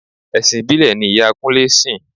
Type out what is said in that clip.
Ẹ̀sìn ìbílẹ̀ ni ìyá Kúnlẹ́ sìn.